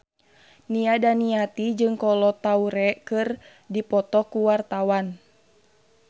Nia Daniati jeung Kolo Taure keur dipoto ku wartawan